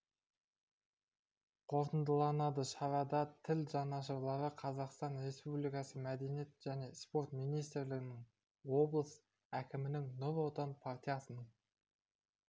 қорытындыланады шарада тіл жанашырлары қазақстан республикасы мәдениет және спорт министрлігінің облыс әкімінің нұр отан партиясының